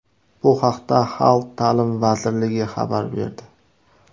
Bu haqda Xalq ta’limi vazirligi xabar berdi.